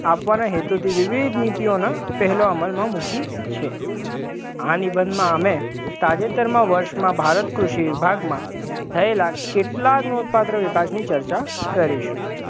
આપવાના હેતુથી વિવિધ નીતિઓના પહેલો અમલમાં મૂકી છે, આ નિબંધમાં અમે તાજેતરમાં વર્ષમાં ભારત કૃષિ વિભાગમાં થયેલા કેટલાક નોંધપાત્ર વિકાસની ચર્ચા કરીશું.